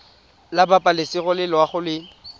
la pabalesego le loago e